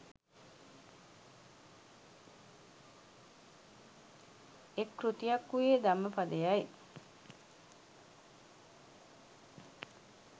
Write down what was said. එක් කෘතියක් වූයේ ධම්මපදයයි.